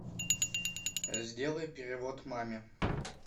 сделай перевод маме